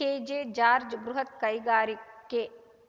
K J George ಬೃಹತ್‌ ಕೈಗಾರಿಕೆ